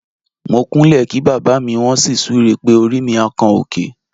Mo kúnlẹ̀ kí bàbá mi, wọ́n sì súre pé "orí mi á kan òkè".